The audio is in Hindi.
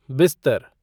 बिस्तर